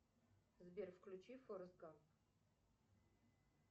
сбер включи форест гамп